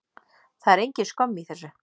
Það er engin skömm í þessu.